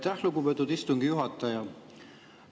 Aitäh, lugupeetud istungi juhataja!